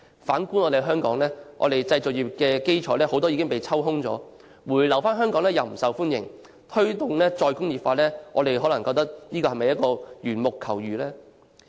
反觀香港，製造業的基礎已被抽空，回流香港又不受政府歡迎，推動"再工業化"可能只是緣木求魚。